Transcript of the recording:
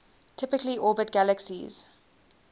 typically orbit galaxies